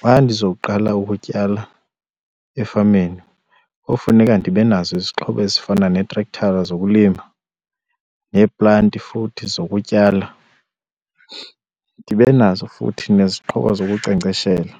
Xa ndizoqala ukutyala efameni kofuneka ndibe nazo izixhobo ezifana neetrekthara zokulima neeplanti futhi zokutyala, ndibe nazo futhi nezixhobo zokunkcenkceshela,